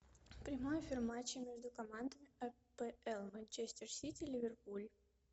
прямой эфир матча между командами апл манчестер сити ливерпуль